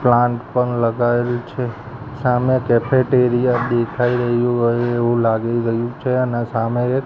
plant પણ લગાવેલુ છે સામે કેફેટેરિયા દેખાઈ રહ્યુ હોઈ એવુ લાગી રહ્યુ છે અને સામે એક--